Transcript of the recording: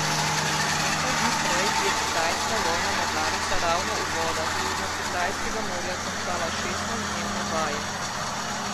Nekaj dni prej je kitajska vojna mornarica ravno v vodah Južnokitajskega morja končala šestnajstdnevne vaje.